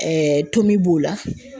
tomi b'o la.